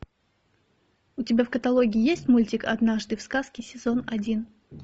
у тебя в каталоге есть мультик однажды в сказке сезон один